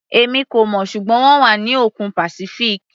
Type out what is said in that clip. Èmi kò mọ̀, ṣùgbọ́n wọ́n wà ní òkun Pacific.